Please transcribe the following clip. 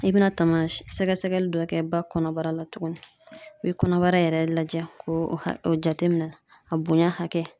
I bɛna tama sɛgɛsɛgɛli dɔ kɛ ba kɔnɔbara la tuguni , i bɛ kɔnɔbara yɛrɛ lajɛ ko o jateminɛ , a bonya hakɛ.